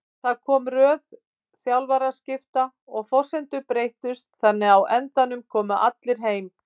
Það kom röð þjálfaraskipta og forsendur breyttust þannig að á endanum komum við allir heim.